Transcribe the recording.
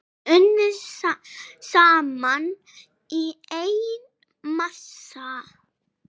Unnið saman í einn massa.